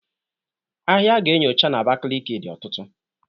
Ahịa a ga-enyocha na Abakaliki dị ọtụtụ.